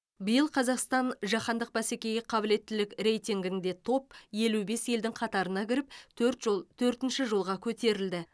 биыл қазақстан жаһандық бәсекеге қабілеттілік рейтингінде топ елу бес елдің қатарына кіріп төрт жол төртінші жолға көтерілді